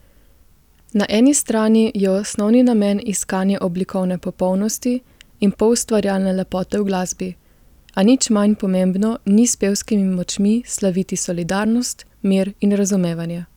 Na eni strani je osnovni namen iskanje oblikovne popolnosti in poustvarjalne lepote v glasbi, a nič manj pomembno ni s pevskimi močmi slaviti solidarnost, mir in razumevanje.